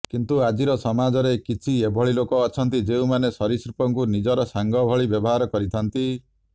କିନ୍ତୁ ଆଜିର ସମାଜରେ କିଛି ଏଭଳି ଲୋକ ଅଛନ୍ତି ଯେଉଁମାନେ ସରୀସୃପଙ୍କୁ ନିଜର ସାଙ୍ଗ ଭଳି ବ୍ୟବହାର କରିଥାନ୍ତି